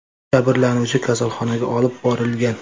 Jabrlanuvchi kasalxonaga olib borilgan.